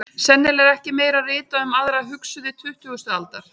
Sennilega er ekki meira ritað um aðra hugsuði tuttugustu aldar.